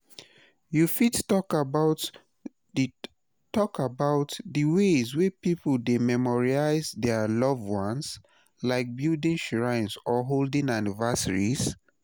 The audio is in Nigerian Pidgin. you fit talk about di talk about di ways wey people dey memorialize dia loved ones, like building shrines or holding anniversaries?